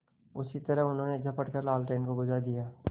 उसी तरह उन्होंने झपट कर लालटेन को बुझा दिया